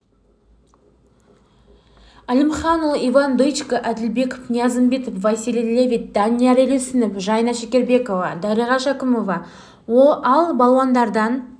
әлімханұлы иван дычко әділбеков ниязымбетов василий левит данияр елеусінов жайна шекербекова дариға шәкімова ал балуандардан